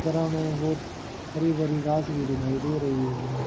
Ground में बहोत हरी भरी घास भी दिखाई दे रही है।